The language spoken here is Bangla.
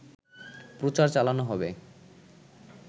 প্রচার চালানো হবে